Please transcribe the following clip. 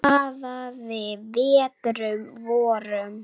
Sigrún, Fjalar, Heba og Högni.